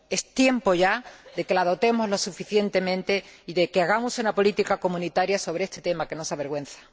Es tiempo ya de que la dotemos suficientemente y de que hagamos una política comunitaria sobre este tema que nos avergüenza.